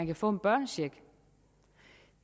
kan få en børnecheck